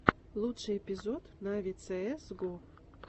лучший эпизод нави цээс го